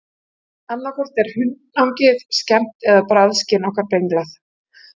Annað hvort er hunangið skemmt eða bragðskyn okkar brenglað.